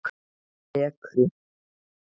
Ekru